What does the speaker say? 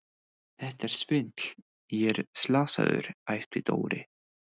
Þetta er svindl, ég er slasaður! æpti Dóri.